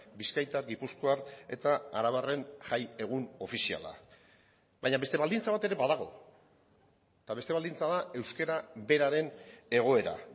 bizkaitar gipuzkoar eta arabarren jai egun ofiziala baina beste baldintza bat ere badago eta beste baldintza da euskara beraren egoera